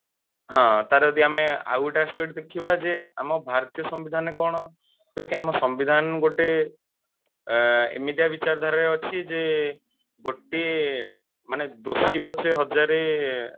ହଁ ତାର ଯଦି ଆମେ ଆଉ ଗୋଟେ aspect ଦେଖିବା ଯେ ଆମ ଭାରତୀୟ ସମ୍ବିଧାନ କଣ ଯେ କି ଆମ ସମ୍ବିଧାନ ଗୋଟେ ଆଁ ଏମିତିଆ ବିଚାର ଧାରାରେ ଅଛି ଯେ ଗୋଟେ ମାନେ ଦୋଷୀ ପଛେ ହଜାରେ